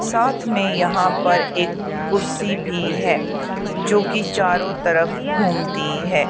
साथ में यहां पर एक कुर्सी भी है जोकि चारों तरफ घूमती है।